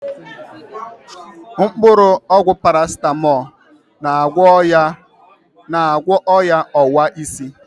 Mkpụrụ ọgwụ Parasitamolu, na-agwọ o̻ya ọwa isi.